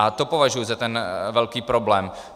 A to považuji za ten velký problém.